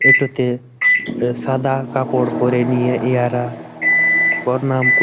এটোতে এ সাদা এ কাপড় পড়ে নিয়ে ইঁহারা পরনাম কর--